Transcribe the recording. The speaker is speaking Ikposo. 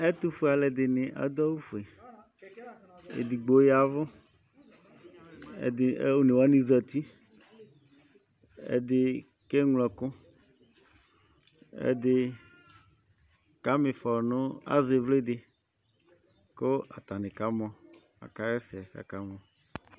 Ɛtufue aluɛdini adu awù fué, edigbo yavù, ɛdi onéwani zati, ɛdi ka eŋlo ɛku, ɛdi kama ĩfɔ nu, azɛ ivli dì ku atani ka amɔ, aka hɛsɛ k'aka amɔ